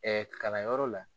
kalan yɔrɔ la.